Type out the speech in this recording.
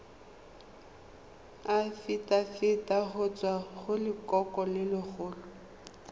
afitafiti go tswa go lelokolegolo